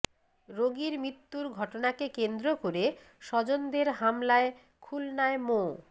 রোগীর মৃত্যুর ঘটনাকে কেন্দ্র করে স্বজনদের হামলায় খুলনায় মো